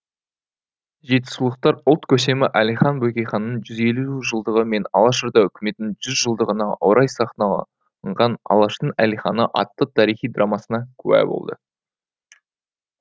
жетісулықтар ұлт көсемі әлихан бөкейханның жүз елу жылдығы мен алашорда үкіметінің жүз жылдығына орай сахналанған алаштың әлиханы атты тарихи драмасына куә болды